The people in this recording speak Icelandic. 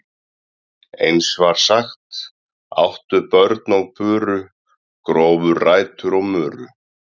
Eins var sagt: Áttu börn og buru, grófu rætur og muru.